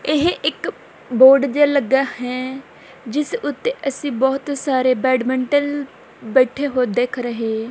ਇਹ ਇੱਕ ਬੋਰਡ ਜਿਹਾ ਲੱਗਿਆ ਹੈ ਜਿੱਸ ਉੱਤੇ ਅਸੀਂ ਬਹੁਤ ਸਾਰੇ ਬੈਡਮਿੰਟਨ ਬੈਠੇ ਹੋਏ ਦਿੱਖ ਰਹੇ।